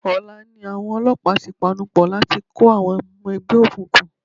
Ọ̀la ni àwọn olọ́pàá ti panupọ̀ láti kó àwọn ọmọ ẹgbẹ́ òkùnkùn.